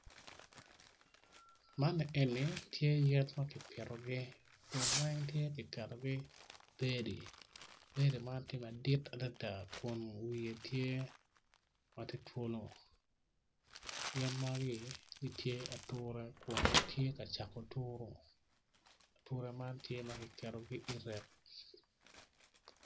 Man ni eni tye yen ma kipitogi winyo man opito tyene aryo odwoko angec winyo man oyaro bome kun tye ka tuk dogwinyo man t ature man tye ma kiketogi i reck.